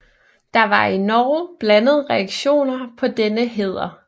Der var i Norge blandede reaktioner på denne hæder